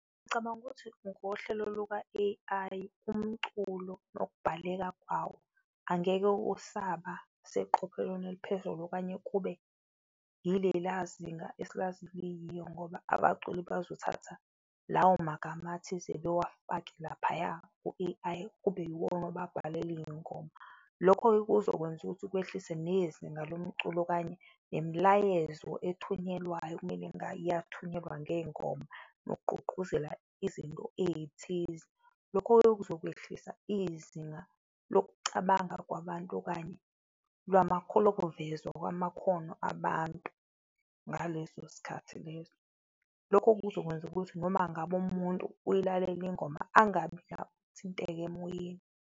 Ngicabanga ukuthi ngohlelo luka-A_I, umculo nokubhaleka kwawo angeke usaba seqophelweni eliphezulu okanye kube ilela zinga esilazi liyiyo ngoba abaculi bazothatha lawo magama athize bewafake laphaya ku-A_I, kube iwona obabhalela izingoma. Lokho-ke kuzokwenza ukuthi kwehlise nezinga lomculo okanye nemilayezo ethunyelwayo, ekumele engabe iyathunyelwa ngezingoma nokugqugquzela izinto ezithize, lokho-ke kuzokwehlisa izinga lokucabanga kwabantu okanye lokuvezwa kwamakhono abantu ngaleso sikhathi leso. Lokho kuzokwenza ukuthi noma ngabe umuntu uyilalele ingoma, angabe athinteke emoyeni.